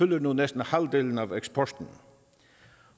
nu næsten halvdelen af eksporten